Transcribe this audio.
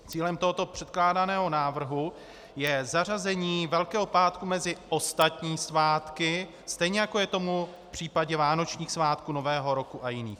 Cílem tohoto předkládaného návrhu je zařazení Velkého pátku mezi ostatní svátky, stejně jako je tomu v případě vánočních svátků, Nového roku a jiných.